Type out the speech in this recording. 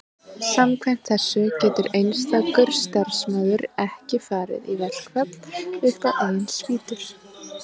samkvæmt þessu getur einstakur starfsmaður ekki farið í verkfall upp á eigin spýtur